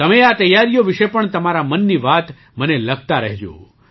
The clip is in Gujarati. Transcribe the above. તમે આ તૈયારીઓ વિશે પણ તમારા મનની વાત મને લખતા રહેજો